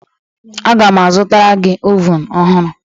Aga m azụtara gị ovun ọhụrụ.